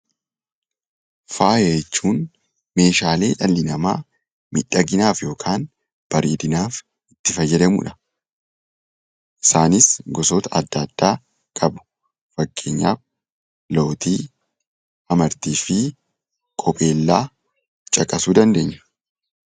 Faaya jechuun meeshaalee dhalli namaa miidhaginaaf yookaan bareedinaaf itti fayyadamudha. Isaanis gosoota adda addaa qabu. Fakkeenyaaf lootii, amartiifi qubeellaa caqasuu dandeenya.